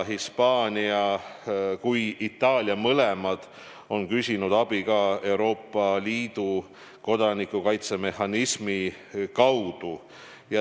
Hispaania ja Itaalia mõlemad on küsinud abi ka Euroopa Liidu kodanikukaitse mehhanismi kaudu.